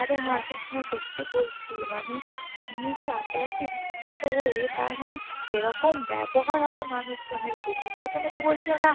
আরে হাসিস না সত্যি বলছি মানে উনি যে রাতারাতি বিখ্যাত হয়ে তার মানে এরকম ব্যবহার হবে মানুষ জনের প্রতি প্রথেমে তো বলছিলো না